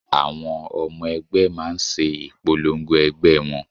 Àwọn ọmọ ẹgbẹ́ máa ń ṣe ìpolongo ẹgbẹ́ wọn